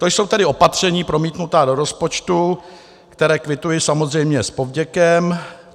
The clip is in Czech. To jsou tedy opatření promítnutá do rozpočtu, která kvituji samozřejmě s povděkem.